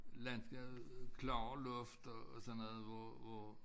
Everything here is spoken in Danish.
Landskabet klarere luft og og sådan noget hvor hvor